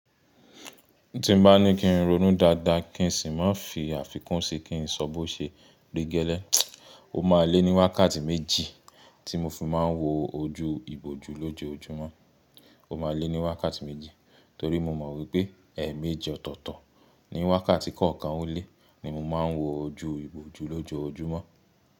Tí n bá ní kí n ronú dáadáa, kí n sì má fí àfikún sí kí n sọ bó ṣe rí gẹ́lẹ́. O má lé ní wákàtí méjì tí mo fi máa ń wo ojú ìbòjú lójojúmọ́. O má lé ní wákàtí méjì torí mo mọ̀ wípé ẹ̀eméjì ọ̀tọ̀ọ̀tọ̀. Ni wákàtí kọ̀ọ̀kan ó lé ni mo máa ń wo ojú ìbòjú lójojúmọ́